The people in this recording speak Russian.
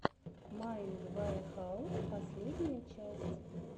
майнд ваэхаус последняя часть